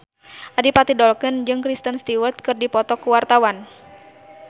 Adipati Dolken jeung Kristen Stewart keur dipoto ku wartawan